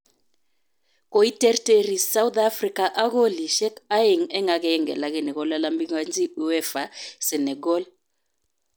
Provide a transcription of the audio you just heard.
Koiterterir sauthafrika ak kolisyek aeng eng agenge lakini kolalamikanchi uefa Senegal